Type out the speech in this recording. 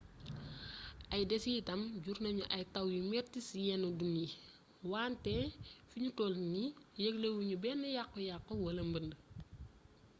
ay desitam jur nañu ay taw yu metti ci yenn dun yi wante fi nu toll nii yëglewunu benn yàkku yàkku wala mbënd